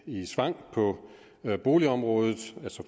i svang på boligområdet